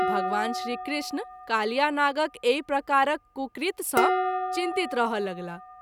भगवान श्री कृष्ण कालियानागक एहि प्रकारक कुकृत्य सँ चिंतीत रहय लगलाह।